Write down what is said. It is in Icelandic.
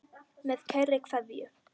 Með kærri kveðju.